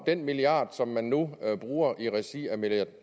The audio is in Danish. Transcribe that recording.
den milliard som man nu bruger i regi af